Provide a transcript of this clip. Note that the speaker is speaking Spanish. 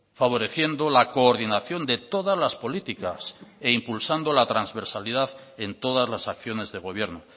favoreciendo la coordinación de todas las políticas e impulsando la transversalidad en todas las acciones de gobierno